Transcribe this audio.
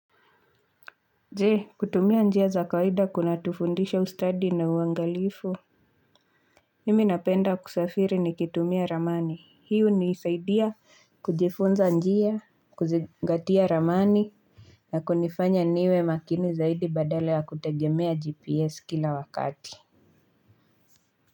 Jee kutumia njia za kawaida kunatufundisha ustadi na uangalifu Mimi napenda kusafiri nikitumia ramani hii hunisaidia kujifunza njia kuzingatia ramani. Na kunifanya niwe makini zaidi badala ya kutegemea gps kila wakati.